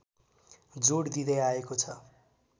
जोड दिँदै आएको छ